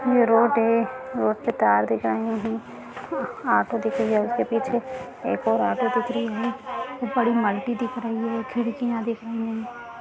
ये रोड है रोड पे तार दिखदिख रहे है ऑटो दिख रही है उसके पीछे एक और ऑटो दिख रही है बड़ी मल्टी दिख रही है खिड़कियां दिख रही है।